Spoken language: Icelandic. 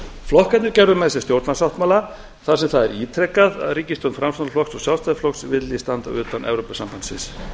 flokkarnir gerðu með sér stjórnarsáttmála þar sem það er ítrekað að ríkisstjórn framsóknarflokks og sjálfstæðisflokks vilji standa utan evrópusambandsins